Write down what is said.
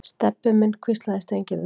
Stebbi minn hvíslaði Steingerður.